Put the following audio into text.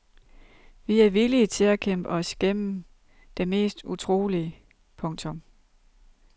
Vi er villige til at kæmpe os vej gennem det mest utrolige. punktum